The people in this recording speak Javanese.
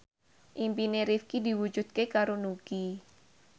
impine Rifqi diwujudke karo Nugie